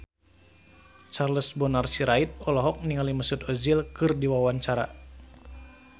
Charles Bonar Sirait olohok ningali Mesut Ozil keur diwawancara